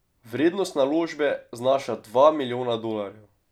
Vrednost naložbe znaša dva milijona dolarjev.